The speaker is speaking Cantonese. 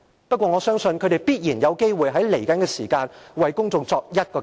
不過，我相信，他們在未來必然有機會向公眾作出交代。